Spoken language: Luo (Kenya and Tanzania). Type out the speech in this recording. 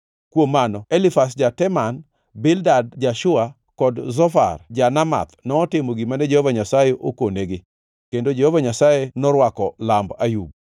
Kuom mano Elifaz ja-Teman, Bildad ja-Shua kod Zofar ja-Namath notimo gimane Jehova Nyasaye okonegi; kendo Jehova Nyasaye norwako lamb Ayub.